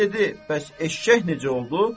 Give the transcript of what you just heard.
Sənə dedi bəs eşşək necə oldu?